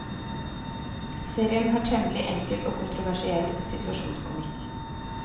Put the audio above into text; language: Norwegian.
Serien har temmelig enkel og konvensjonell situasjonskomikk.